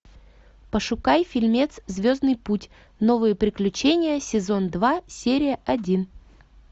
пошукай фильмец звездный путь новые приключения сезон два серия один